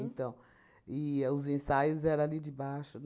Então, e os ensaios era ali debaixo